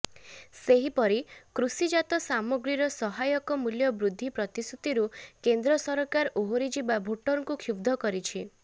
ସେହିପରି କୃଷିଜାତ ସାମଗ୍ରୀର ସହାୟକ ମୂଲ୍ୟ ବୃଦ୍ଧି ପ୍ରତିଶ୍ରୁତିରୁ କେନ୍ଦ୍ର ସରକାର ଓହରିଯିବା ଭୋଟରଙ୍କୁ କ୍ଷୁବ୍ଧ କରିଛି